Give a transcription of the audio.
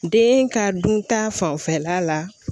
Den ka dun ta fanfɛla la